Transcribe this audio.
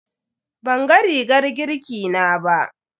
Banga rigar girki na ba.